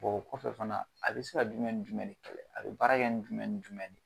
o kɔfɛ fana a bɛ se ka jumɛn ni jumɛn de kɛlɛ? A bɛ baara kɛ ni jumɛn ni jumɛn ne?